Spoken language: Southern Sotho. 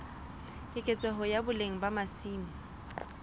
keketseho ya boleng ba masimo